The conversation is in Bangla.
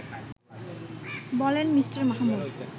বলেন মি. মাহমুদ